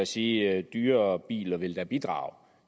sige at dyrere biler ville bidrage